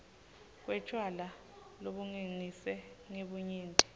kwetjwala lobungeniswe ngebunyenti